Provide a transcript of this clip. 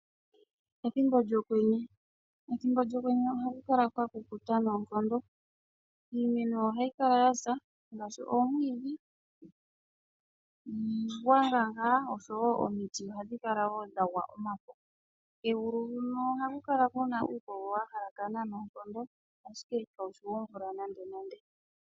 Ethimbo lyokwenye. Ethimbo lyokwenye ohaku kala kwa kukuta noonkondo. Iimeno ohayi kala yasa ngaashi omwiidhi. Niigwanga ngaa osho woo omiti ohadhi kala dha gwa omafo. Kegulu huno ohaku kala ngaa kuna uukogo wahalakana ashike ita ku zi omvula nande.